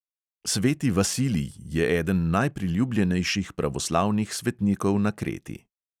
Sveti vasilij je eden najpriljubljenejših pravoslavnih svetnikov na kreti.